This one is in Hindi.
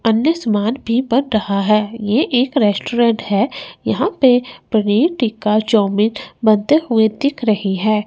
अन्य सामान भी बन रहा है ये एक रेस्टोरेंट है यहां पे पनीर टिक्का चाऊमीन बनते हुए दिख रही है।